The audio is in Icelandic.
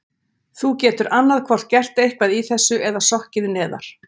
Þú getur annað hvort gert eitthvað í þessu eða sokkið neðar.